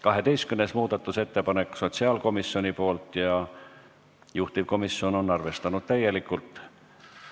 12. muudatusettepanek on sotsiaalkomisjonilt ja juhtivkomisjon on arvestanud täielikult.